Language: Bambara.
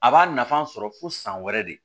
A b'a nafa sɔrɔ fo san wɛrɛ de